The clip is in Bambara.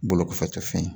Bolo kɔfɛ cɛ fen ye